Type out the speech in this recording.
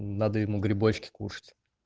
надо ему грибочки кушать